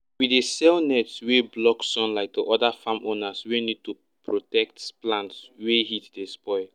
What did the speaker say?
we dey sell net wey block sunlight to oda farm owners wey need to protect plants wey heat dey spoil